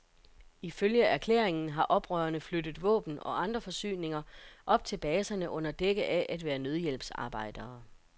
Ifølge erklæringen har oprørerne flyttet våben og andre forsyninger op til baserne under dække af at være nødhjælpsarbejdere.